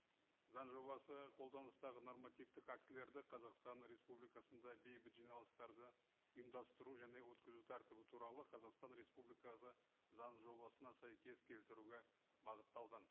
заң жобасы қолданыстағы нормативтік актілерді қазақстан республикасында бейбіт жиналыстарды ұйымдастыру және өткізу тәртібі туралы қазақстан республикасы заң жобасына сәйкес келтіруге бағытталған